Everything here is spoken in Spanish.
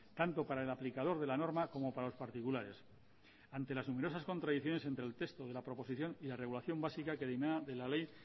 tanto para el aplicador de la norma como para los particulares ante las numerosas contradicciones entre el texto de la proposición y la regulación básica que dimana de la ley